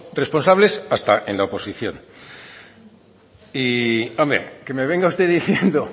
responsables hasta en la oposición y hombre que me venga usted diciendo